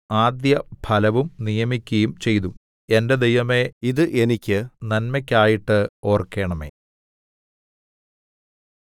ആദ്യഫലവും നിയമിക്കയും ചെയ്തു എന്റെ ദൈവമേ ഇത് എനിക്ക് നന്മയ്ക്കായിട്ട് ഓർക്കണമേ